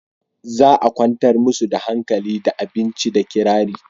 za a kwantar musu da hankali da abinci da kirari